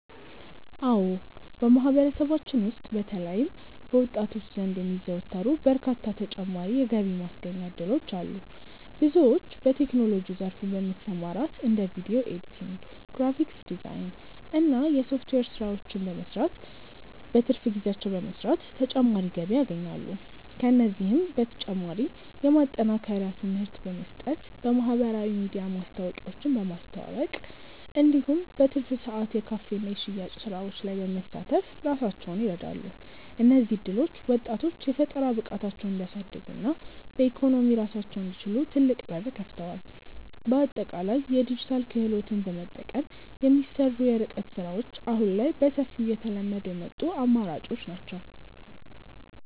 አዎ በማህበረሰባችን ውስጥ በተለይም በወጣቶች ዘንድ የሚዘወተሩ በርካታ ተጨማሪ የገቢ ማስገኛ እድሎች አሉ። ብዙዎች በቴክኖሎጂው ዘርፍ በመሰማራት እንደ ቪዲዮ ኤዲቲንግ፣ ግራፊክስ ዲዛይን እና የሶፍትዌር ስራዎችን በትርፍ ጊዜያቸው በመስራት ተጨማሪ ገቢ ያገኛሉ። ከእነዚህም በተጨማሪ የማጠናከሪያ ትምህርት በመስጠት፣ በማህበራዊ ሚዲያ ማስታወቂያዎችን በማስተዋወቅ እንዲሁም በትርፍ ሰዓት የካፌና የሽያጭ ስራዎች ላይ በመሳተፍ ራሳቸውን ይረዳሉ። እነዚህ እድሎች ወጣቶች የፈጠራ ብቃታቸውን እንዲያሳድጉና በኢኮኖሚ ራሳቸውን እንዲችሉ ትልቅ በር ከፍተዋል። በአጠቃላይ የዲጂታል ክህሎትን በመጠቀም የሚሰሩ የርቀት ስራዎች አሁን ላይ በሰፊው እየተለመዱ የመጡ አማራጮች ናቸው።